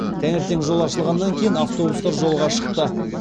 таңертең жол ашылғаннан кейін автобустар жолға шықты